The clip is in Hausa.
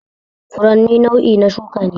Furanni nau'i na shuka ne